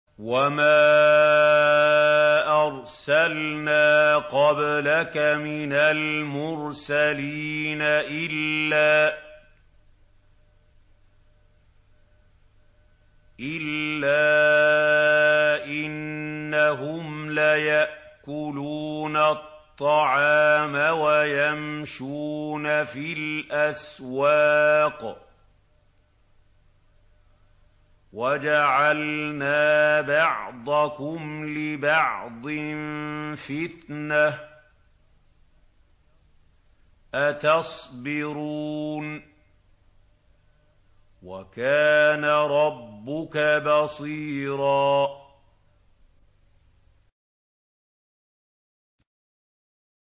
وَمَا أَرْسَلْنَا قَبْلَكَ مِنَ الْمُرْسَلِينَ إِلَّا إِنَّهُمْ لَيَأْكُلُونَ الطَّعَامَ وَيَمْشُونَ فِي الْأَسْوَاقِ ۗ وَجَعَلْنَا بَعْضَكُمْ لِبَعْضٍ فِتْنَةً أَتَصْبِرُونَ ۗ وَكَانَ رَبُّكَ بَصِيرًا